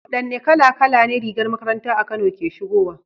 Wadanne kala kala ne rigar makaranta a Kano ke shigowa?